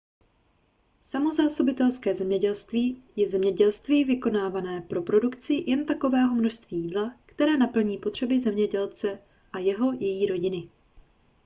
samozásobitelské zemědělství je zemědělství vykonávané pro produkci jen takového množství jídla které naplní potřeby zemědělce a jeho/její rodiny